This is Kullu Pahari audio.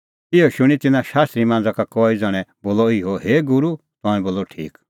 इहअ शूणीं तिन्नां शास्त्री मांझ़ा का कई ज़ण्हैं बोलअ इहअ हे गूरू तंऐं बोलअ ठीक